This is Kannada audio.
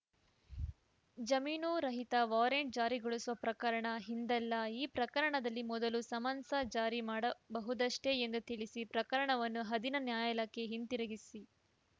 ಜಮೀನು ರಹಿತ ವಾರೆಂಟ್‌ ಜಾರಿಗೊಳಿಸುವ ಪ್ರಕರಣ ಇಂದಲ್ಲ ಈ ಪ್ರಕರಣದಲ್ಲಿ ಮೊದಲು ಸಮನ್ಸ್‌ ಜಾರಿ ಮಾಡಬಹುದಷ್ಟೇ ಎಂದು ತಿಳಿಸಿ ಪ್ರಕರಣವನ್ನು ಅಧೀನ ನ್ಯಾಯಾಲಯಕ್ಕೆ ಹಿಂದಿರುಗಿಸಿ